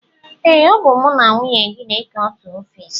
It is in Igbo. Ee, ọ bụ mụ na nwunye gị na-eke otu ofiisi